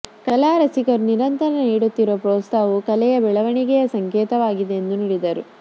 ಕಲಾರಸಿಕರು ನಿರಂತರು ನೀಡುತ್ತಿರುವ ಪ್ರೋತ್ಸಾಹವು ಕಲೆಯ ಬೆಳವಣಿಗೆಯ ಸಂಕೇತವಾಗಿದೆ ಎಂದು ನುಡಿದರು